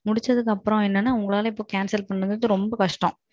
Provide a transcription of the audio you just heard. முடிச்சதுக்கு அப்பறோம் என்னன்னா உங்களால ரத்து பண்றது இப்போ ரொம்ப கஷ்டம்.